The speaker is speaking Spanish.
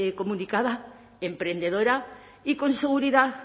comunicada emprendedora y con seguridad